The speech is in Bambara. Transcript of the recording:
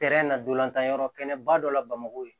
nadonlantan yɔrɔ kɛnɛ ba dɔ la bamakɔ